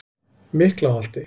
Miklaholti